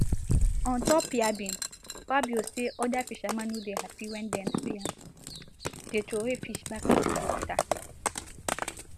ontop yabbing fabio say oda fishermen no dey happy wen dem see am dey throway fish back into di water